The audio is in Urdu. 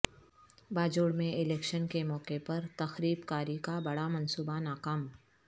باجوڑ میں الیکشن کے موقع پر تخریب کاری کا بڑا منصوبہ ناکام